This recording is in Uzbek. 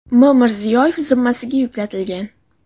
M. Mirziyoyev zimmasiga yuklatilgan.